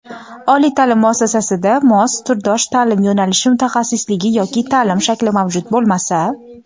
oliy ta’lim muassasasida mos (turdosh) ta’lim yo‘nalishi (mutaxassisligi) yoki ta’lim shakli mavjud bo‘lmasa;.